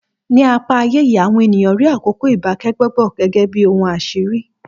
Ní apá ayé yìí, àwọn ènìyàn rí àkókò ìbákẹ́gbẹ́pọ̀ gẹ́gẹ́ bí ohun àṣírí